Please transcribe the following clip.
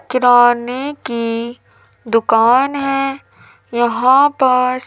किराने की दुकान है यहां पर।